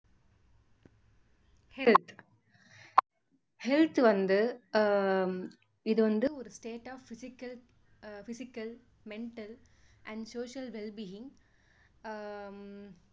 health health வந்து ஆஹ் இது வந்து ஒரு state of physical physical mental and social well being ah